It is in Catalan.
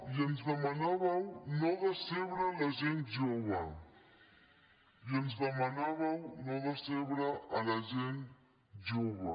i ens demanàveu no decebre la gent jove i ens demanàveu no decebre la gent jove